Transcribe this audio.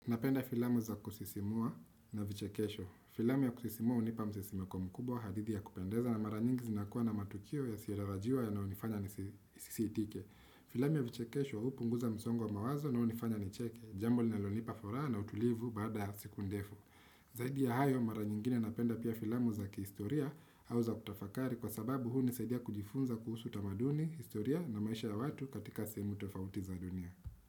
Napenda filamu za kusisimua na vichekesho. Filamu ya kusisimua hunipa msisimko mkubwa, hadithi ya kupendeza na mara nyingi zinakuwa na matukio yasiyotarajiwa yanayonifanya nisisiitike. Filamu ya vichekesho hupunguza msongo wa mawazo na hunifanya nicheke. Jambo linalonipa furaha na utulivu baada siku ndefu. Zaidi ya hayo mara nyingine napenda pia filamu za kihistoria au za kutafakari kwa sababu hunisaidia kujifunza kuhusu tamaduni, historia na maisha ya watu katika sehemu tofauti za dunia.